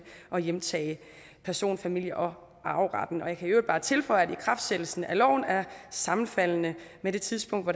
at hjemtage person familie og arveretten jeg kan i øvrigt bare tilføje at ikraftsættelsen af loven er sammenfaldende med det tidspunkt hvor